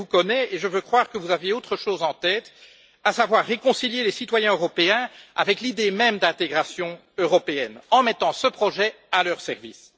Néanmoins, je vous connais et je veux croire que vous aviez autre chose en tête, à savoir réconcilier les citoyens européens avec l'idée même d'intégration européenne en mettant ce projet à leur service.